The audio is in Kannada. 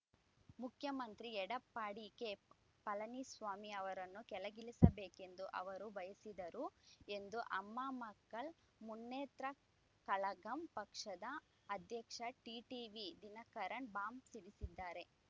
ಮುಖ್ಯಮಂತ್ರಿ ಎಡಪ್ಪಾಡಿ ಕೆ ಪಳನಿಸ್ವಾಮಿ ಅವರನ್ನು ಕೆಳಗಿಳಿಸಬೇಕೆಂದು ಅವರು ಬಯಸಿದರು ಎಂದು ಅಮ್ಮಾ ಮಕ್ಕಳ್‌ ಮುನ್ನೇತ್ರ ಕಳಗಂ ಪಕ್ಷದ ಅಧ್ಯಕ್ಷ ಟಿಟಿವಿ ದಿನಕರನ್‌ ಬಾಂಬ್‌ ಸಿಡಿಸಿದ್ದಾರೆ